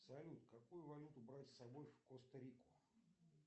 салют какую валюту брать с собой в коста рику